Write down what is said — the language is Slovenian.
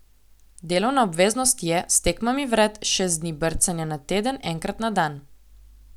Delovna obveznost je, s tekmami vred, šest dni brcanja na teden, enkrat na dan.